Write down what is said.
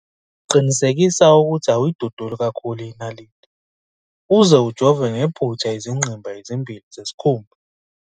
Qinisekisa ukuthi awuyiduduli kakhulu inaliti uze ujove ngephutha izingqimba ezimbili zesikhumba.